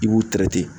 I b'u tɛrɛ tɛ